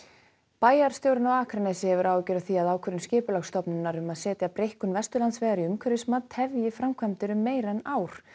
bæjarstjórinn á Akranesi hefur áhyggjur af því að ákvörðun Skipulagsstofnunar um að setja breikkun Vesturlandsvegar í umhverfismat tefji framkvæmdir um meira en ár